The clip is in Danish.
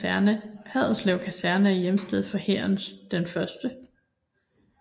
Haderslev Kaserne er hjemsted for Hærens 1